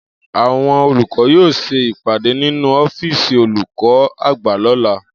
Àwo̩n olùkó̩ yóò s̩e ìpàdé nínú ó̩fíìsì olùkó̩ àgbà ló̩la